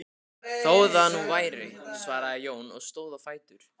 Þó það nú væri, svaraði Jón og stóð á fætur.